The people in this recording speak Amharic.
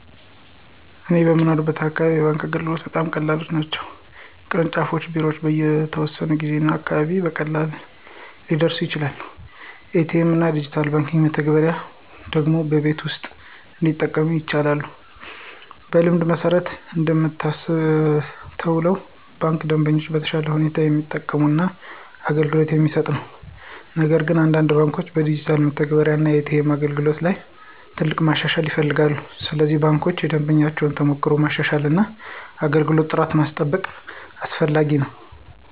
በእኔ የምኖርበት አካባቢ የባንክ አገልግሎቶች በጣም ቀላል ናቸው። የቅርንጫፍ ቢሮዎች በተወሰነ ጊዜ እና አካባቢ ውስጥ ቀላል ሊደርሱ ይችላሉ። ኤ.ቲ.ኤም እና ዲጂታል የባንክ መተግበሪያዎች ደግሞ በቤት ውስጥ እንዲጠቀሙ ይቻላሉ። በልምድ መሠረት እንደምታስተውሉ ባንኩ ደንበኞችን በተሻለ ሁኔታ የሚጠብቅ እና አገልግሎት የሚሰጥ ነው። ነገር ግን አንዳንድ ባንኮች በዲጂታል መተግበሪያ እና ኤ.ቲ.ኤም አገልግሎት ላይ ትልቅ ማሻሻያ ይፈልጋሉ። ስለዚህ ባንኮች የደንበኞችን ተሞክሮ ማሻሻል እና የአገልግሎት ጥራት ማስጠንቀቅ አስፈላጊ ነው።